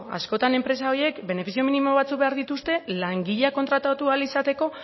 askotan enpresa horiek benefizio minimo batzuk behar dituzte langileak kontratatu ahal izateko